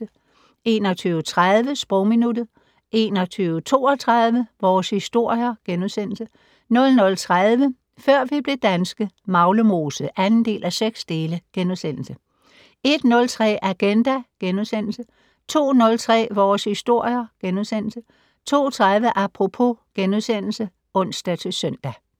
21:30: Sprogminuttet 21:32: Vores Historier * 00:30: Før vi blev danske - Maglemose (2:6)* 01:03: Agenda * 02:03: Vores Historier * 02:30: Apropos *(ons-søn)